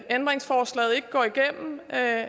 ændringsforslaget ikke går igennem at